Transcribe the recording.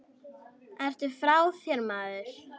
Ertu frá þér maður?